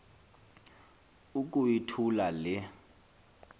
uku yithula le